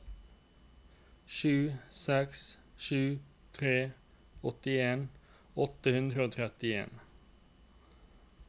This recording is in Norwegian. sju seks sju tre åttien åtte hundre og trettien